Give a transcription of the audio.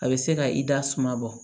A bɛ se ka i da suma bɔ